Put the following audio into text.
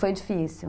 Foi difícil.